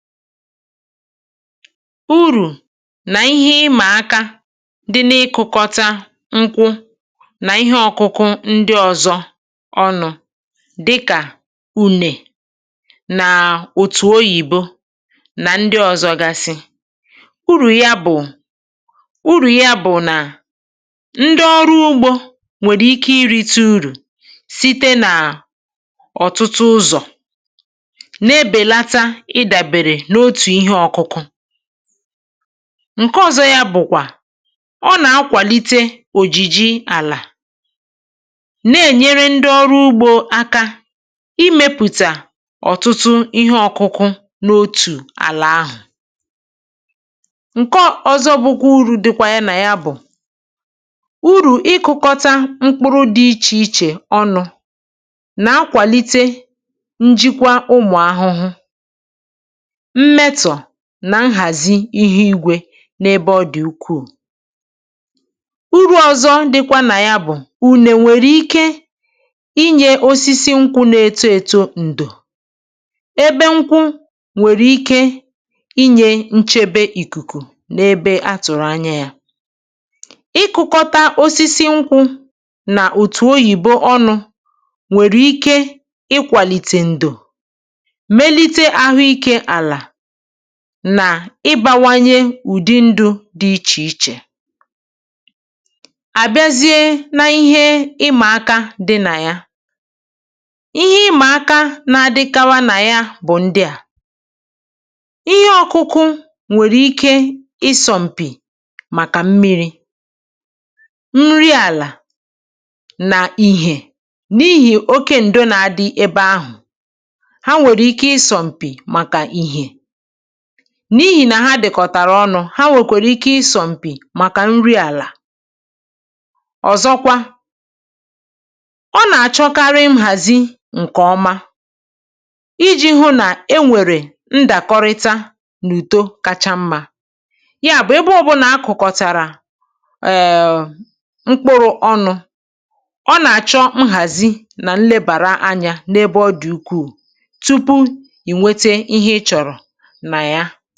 Urù na ihe ịma aka dị n’ịkụ̀kọ̀ta nkwụ na ihe ọkụkụ ndị ọzọ, dịkà ji maọ̀bụ̀ ọka oyibo, bụ ndị a. Urù ya, urù ya, bụ̀ na ndị ọrụ ugbò nwere ike irite uru site n’ụzọ̀ dị iche iche, site n’ụzọ̀ dị iche iche. Otu urù bụ̀ na ọ na-enyere aka imezi àlà, imezi àlà, nke na-enyere ndị ọrụ ugbò aka imepụta ihe ọkụkụ dị iche iche, ihe ọkụkụ dị iche iche, n’otu ala ahụ̀. Urù ọzọ bụ̀ na ịkụ̀kọ̀ta ihe ọkụkụ dị iche iche, ịkụ̀kọ̀ta ihe ọkụkụ dị iche iche, na-enyere aka n’ịchịkwa ụmụ̀ ahụhụ ma na-emezi nhazi ugbò, na-emezi nhazi ugbò n’ozuzu. Urù ọzọ bụ̀ na ji nwere ike irite uru n’ọ̀nụ̀dò nkwụ na-eto eto. Nkwụ na-enye nchebe megide ifufe, nchebe megide ifufe, ma na-enye nchebe n’ebe ọ dị mkpa. Ịkụ̀kọ̀ta nkwụ na ihe ọkụkụ ndị ọzọ, ịkụ̀kọ̀ta nkwụ na ihe ọkụkụ ndị ọzọ, nwere ike ibawanye ụ̀dò ma mekwa ka ụdị ndụ dị iche iche bawanye, ụdị ndụ dị iche iche bawanye. Ihe ịma aka, ihe ịma aka, dịkwa. Otu ihe ịma aka bụ̀ na ihe ọkụkụ dị iche iche nwere ike isọ mpi, isọ mpi, maka nri àlà, maka mmìrì̀, na maka ìhè. N’ihi oke ụ̀dò, oke ụ̀dò, ihe ọkụkụ ndị ọzọ nwere ike ghara inweta ìhè zuru oke. Ma n’ihi na a kụ̀rọ̀ ha ọnụ, a kụ̀rọ̀ ha ọnụ, ha nwekwara ike ịsọ mpi, ịsọ mpi, maka nri àlà. Ihe ịma aka ọzọ bụ̀ na ịkụ̀kọ̀ta ihe ọkụkụ na-achọ nhazi nke ọma, nhazi nke ọma, na nlekọta iji hụ na e nwere nhata, nhata, n’eto na owuwe ihe ubi. um Nke a pụtara na mgbe e jikọtara ihe ọkụkụ ọnụ, mgbe e jikọtara ihe ọkụkụ ọnụ, a ga-enwe nlekọta kwesịrị ekwesị, nlekọta kwesịrị ekwesị, na ilebara anya, na ilebara anya, tupu i wee nweta nsonaazụ ịchọrọ, nsonaazụ ịchọrọ.